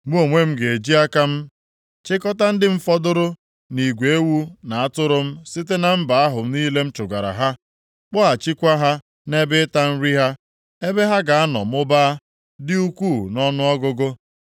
“Mụ onwe m ga-eji aka m chịkọta ndị m fọdụrụ nʼigwe ewu na atụrụ m site na mba ahụ niile m chụgara ha, kpọghachikwa ha nʼebe ịta nri ha, ebe ha ga-anọ mụbaa, dị ukwuu nʼọnụọgụgụ.